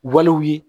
Waliw ye